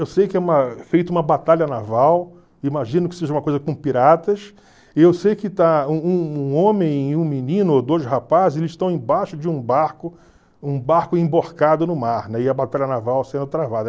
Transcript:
Eu sei que é uma feito uma batalha naval, imagino que seja uma coisa com piratas, e eu sei que está um um homem e um menino, ou dois rapazes, eles estão embaixo de um barco, um barco emborcado no mar, né, e a batalha naval sendo travada.